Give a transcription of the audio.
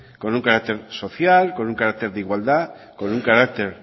con un carácter social con un carácter de igualdad con un carácter